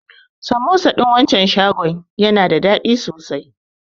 Samosa ɗin wancan shagon yana da daɗi sosai.